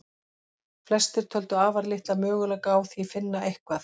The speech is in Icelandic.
Flestir töldu afar litla möguleika á því finna eitthvað.